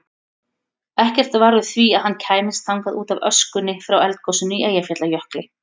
Ekkert varð úr því að hann kæmist þangað útaf öskunni frá eldgosinu í Eyjafjallajökli.